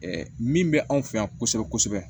min bɛ anw fɛ yan kosɛbɛ kosɛbɛ